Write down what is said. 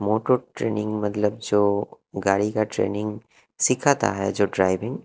motor training मतलब जो गाड़ी का ट्रेनिंग सिखाता है जो ड्राइविंग --